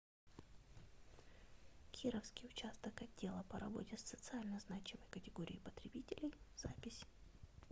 кировский участок отдела по работе с социально значимой категорией потребителей запись